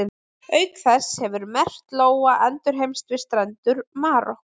Auk þess hefur merkt lóa endurheimst við strendur Marokkó.